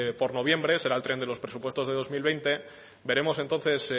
por noviembre será el tren de los presupuestos de dos mil veinte veremos entonces